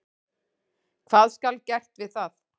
Hvað skal gert við það?